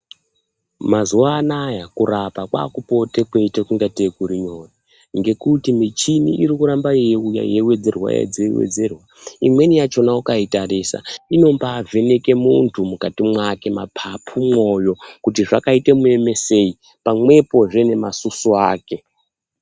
Mazuva anaya kurapa kwaakupote kweiite ingatei kurinyore. Ngekuti michini irikuramba yeiuya yeiwedzerwa-wedzerwa. Imweni yachona ukaitarisa, inombaavheke muntu mukati mwake, mapapu, mwoyo kuti zvakaita muemesei, pamwepozve ngemasusu ake.